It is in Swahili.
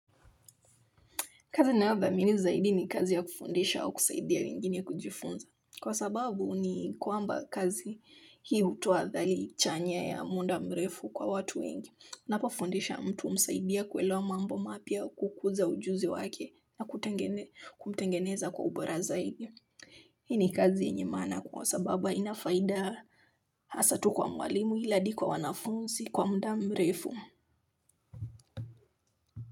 Kazi ninayodhamini zaidi ni kazi ya kufundisha au kusaidia wengine kujifunza kwa sababu ni kwamba kazi hii hutuoa dhali chanya ya muda mrefu kwa watu wengi. Unapo fundisha mtu msaidie kuelewa mambo mapya au kukuza ujuzi wake na kumtengeneza kwa ubora zaidi. Hii ni kazi yenye maana kwa sababu haina faida hasa tu kwa mwalimu ila hadi kwa wanafunzi kwa muda mrefu.